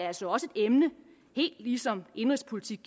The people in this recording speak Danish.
altså også et emne helt ligesom indenrigspolitik